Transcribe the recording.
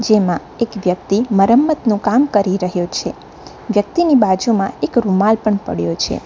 જેમાં એક વ્યક્તિ મારમ્મતનું કામ કરી રહ્યો છે વ્યક્તિની બાજુમાં એક રૂમાલ પણ પડ્યો છે.